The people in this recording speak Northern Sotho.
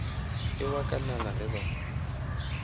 e wa kalana ge ba